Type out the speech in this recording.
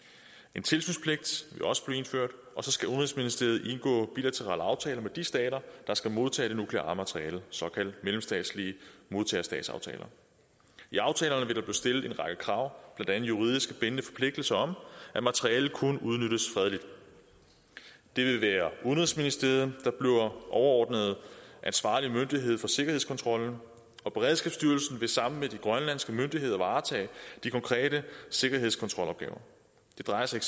en tilsynspligt vil også blive indført og så skal udenrigsministeriet indgå bilaterale aftaler med de stater der skal modtage det nukleare materiale såkaldt mellemstatslige modtagerstatsaftaler i aftalerne vil der blive stillet en række krav blandt andet juridiske bindende forpligtelser om at materialet kun udnyttes fredeligt det vil være udenrigsministeriet der bliver overordnet ansvarlig myndighed for sikkerhedskontrollen og beredskabsstyrelsen vil sammen med de grønlandske myndigheder varetage de konkrete sikkerhedskontrolopgaver det drejer sig